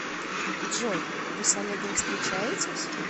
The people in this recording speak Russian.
джой вы с олегом встречаетесь